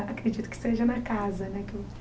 Acredito que seja na casa né.